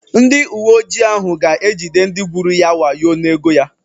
Ndị uweojii ahụ ga-ejide ndị gwuru ya wayo n'ego ya.